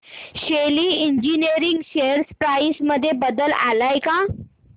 शेली engineering share price मध्ये बदल आलाय का